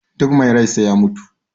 duk mai rai sai ya mutu